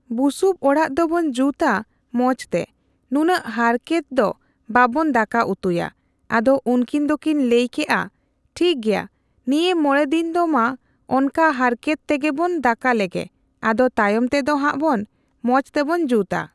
ᱵᱩᱥᱩᱵ ᱚᱲᱟᱜ ᱫᱚᱵᱚᱱ ᱡᱩᱛᱟ ᱢᱚᱸᱡᱽᱛᱮ ᱱᱩᱱᱟᱹᱝ ᱦᱟᱨᱠᱮᱛᱫᱚ ᱵᱟᱵᱚᱱ ᱫᱟᱠᱟ ᱩᱛᱩᱭᱟ,᱾ ᱟᱫᱚ ᱩᱱᱠᱤᱱ ᱫᱚᱠᱤᱱ ᱞᱟᱹᱭ ᱠᱮᱫᱼᱟ ᱴᱷᱤᱠ ᱜᱮᱭᱟ ᱱᱤᱭᱟᱹ ᱢᱚᱬᱮ ᱫᱤᱱ ᱫᱚ ᱢᱟ ᱚᱝᱠᱟ ᱦᱟᱨᱠᱮᱛ ᱛᱮᱜᱮᱵᱚᱱ ᱫᱟᱠᱟ ᱞᱮᱜᱮ ᱟᱫᱚ ᱛᱟᱭᱚᱢ ᱛᱮᱫᱚ ᱦᱟᱸᱜ ᱵᱚᱱ ᱢᱚᱸᱡᱽ ᱛᱮᱵᱚᱱ ᱡᱩᱛᱟ ᱾